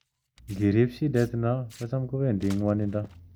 Ngirip shidet no ko cham kowendi ngwonindo.